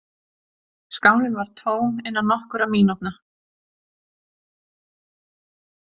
Skálin var tóm innan nokkurra mínútna.